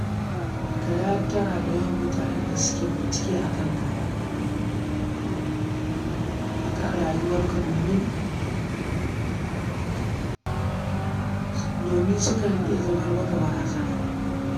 Ka yi hattara da mutanen da suke yawan bincike a kan rayuwarka domin su kan iya zamar maka barazana.